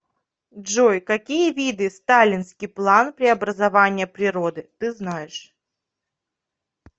джой какие виды сталинский план преобразования природы ты знаешь